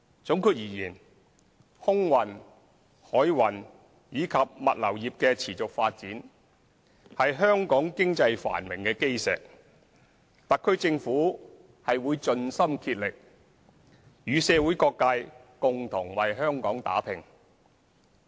總括而言，空運、海運及物流業的持續發展是香港經濟繁榮的基石，特區政府會盡心竭力與社會各界共同為香港打拼。